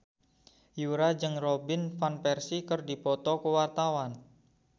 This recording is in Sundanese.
Yura jeung Robin Van Persie keur dipoto ku wartawan